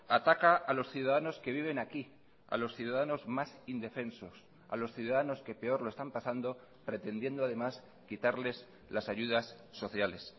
ataca a los ciudadanos que viven aquí a los ciudadanos más indefensos a los ciudadanos que peor lo están pasando pretendiendo además quitarles las ayudas sociales